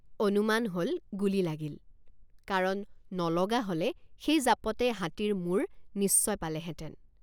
অনুমান হল গুলী লাগিল কাৰণ নলগা হলে সেই জাপতে হাতীৰ মূৰ নিশ্চয় পালেহেঁতেন।